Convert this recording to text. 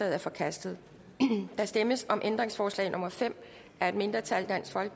er forkastet der stemmes om ændringsforslag nummer fem af et mindretal